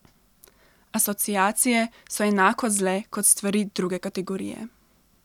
Asociacije so enako zle kot stvari druge kategorije.